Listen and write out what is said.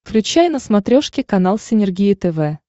включай на смотрешке канал синергия тв